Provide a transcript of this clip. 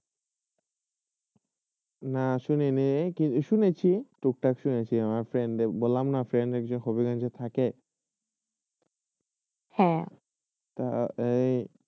না শুনেই নয় শুনেয়সী টুকটাক শুনেয়সী আমার ফ্রীয়েনদে বল্লমনা আমাদের ফ্রেন্ড একজন ফকিরগঞ্জে থাক হয়ে